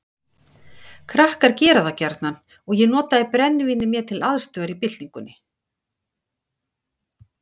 Krakkar gera það gjarnan og ég notaði brennivínið mér til aðstoðar í byltingunni.